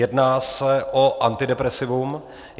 Jedná se o antidepresivum.